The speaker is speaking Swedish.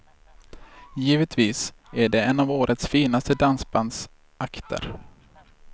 Givetvis är det en av årets finaste dansbandsakter.